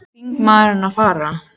Hvað er þingmaðurinn að fara?